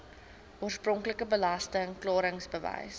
oorspronklike belasting klaringsbewys